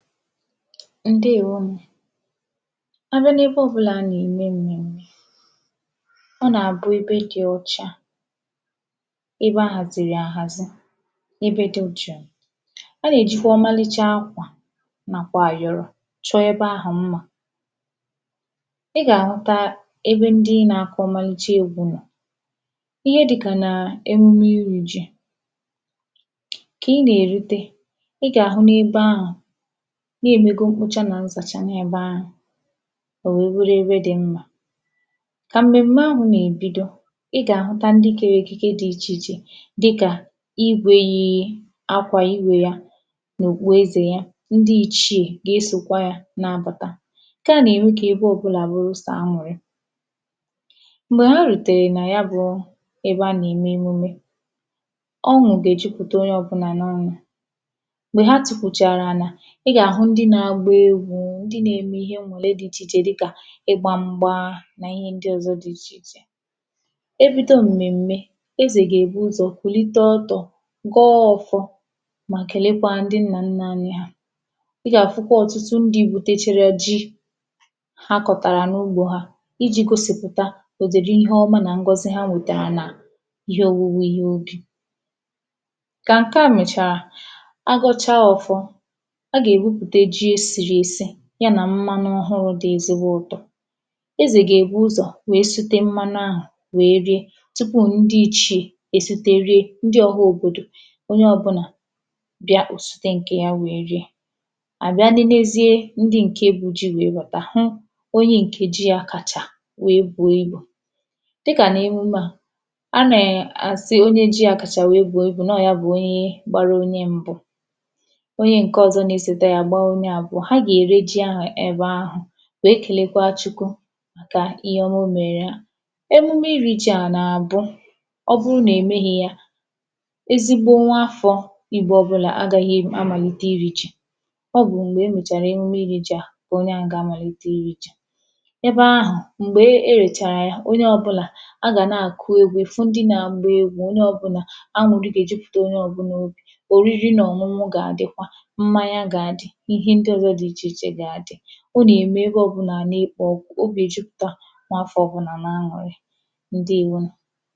Ǹdeèwonù a bịa n’ebe ọbụ̄là a nà-ème m̀mèm̀me ọ nà-àbụ ebe dị̄ ọ̄chā ebe a hàzìrì àhàzi ebe dị̄ ụcha a nà-èjikwa ọmalịcha akwà nàkwà àỵọ̀rọ̀ chọọ ebe ahụ̀ mmā ị gà-àhụta ebe ndi nā- ākụ̄ ọmalicha egwū nọ̀ ihe dịkà nà emume irī jī kà ị nà-èrute ị gà àhụ n’ebe ahụ̀ na è mego mkpocha nà nzàcha n’ebe ahụ̀ ò wèe bụrụ ebe dị̄ mmā kà m̀mèm̀me ahụ̀ nà-èbido ị gà àhụta ndị kērē ekike dị̄ ichè ichè dịkà igwēē akwà igwē yā nà òkpuezè yā ndị ichiè gà-esòkwa yā na-abàta ṅ̀ke à nà-ème kà ebe ọbụ̄là bụrụ sọ̀ aṅụ̀rị m̀gbè a rutèrè nà ya bụ̄ ebe a nà ème emume ọṅụ̀ gà-èjupùta onye ọbụ̄na n’ọnụ̄ m̀gbè ha tukwùchàrà ànà ị gà-àhụ ndị na-agba egwū ndị na-eme ihe ṅṅụ̀rị dị ichè ichè dịkà ịgbā m̄gbā nà ihe ndị ọ̀zọ dị ichè ichè e bido m̀mèm̀me ezè gà-èbu ụzò̩ kùlite ọtọ̄ gọọ ọ̄fọ̄ mà kèlekwaa ndị nnànnà anyị hà ị gà-àfụkwa ọ̀tụtụ ndị̄ butechara ji ha kọ̀tàrà n’ugbō hā ijī gosìpụ̀ta òdị̀dị ihe ọma nà ṅgọzị ha nwetàrà nà ihe ōwūwē ihe ubì kà ṅ̀ke à mèchàrà a gọchaa ọ̄fọ̄ a gà-èbupùte ji e sìrì èsi ya nà mmanụ ọhụụ̄ dị̄ ezigbo ụ̄tọ̄ ezè gà-èbu ụzọ̀ wèe sute mmanụ ahụ̀ wèe rie tupuù ndi ichiè èsute rie ndị ọ̄hā òbòdò onye ọbụ̄nà bịa ò sute ṅ̀kè yā wèe rie à bịa nenezie ndɪ ṅ̀ke bu ji wèe bàta hụ onye ṅ̀ke ji yā kàchà wèe bùo ibù dịkà n’emume à a nè-àsị onye ji yā kàchà wèe bùo ibù na ọọ̀ ya bụ̀ onye gbara onye m̄bụ̄ onye ṅ̀ke ọzọ na-esòte yā gbaa onye àbụọ̄ ha gà ère ji ahụ̀ ebe ahụ̀ wèe kèlekwaa Chukwu màkà ihe ọma o mèèrè ha emume irī ji à nà-àbụ ọ bụrụ nà è mehī yā ezigbo nwa afọ̄̄ Ìgbo ọbụ̄la agāhị̄ amàlite iri ji ọ bù m̀gbè e mèchàrà emume irī ji à kà onye ahụ̀ gà-amàlite irī jī ebe ahụ̀ m̀gbè e e rechàrà ya onye ọbụ̄la a gà-na-àkụ egwu ị̀ fụ ndị na-agba egwū onye ọbụ̄nà aṅụ̀rị gà-èjupùta onye ọbụ̄nà obì òriri nà ọ̀ṅụṅụ gà-àdịkwa mmanya gà-àdị ihe ndị ọ̀zọ dị ichè ichè gà-àdị ọ nà-ème ebe ọbụ̄nà à na-ekpò ọkụ̄ obì èjupùta nwa afọ̄ ọbụnà n’aṅụ̀rị ǹdeèwo